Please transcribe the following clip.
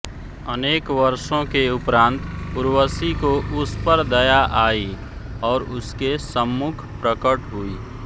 अनेक वर्षों के उपरान्त उर्वशी को उस पर दया आयी और उसके सम्मुख प्रकट हुई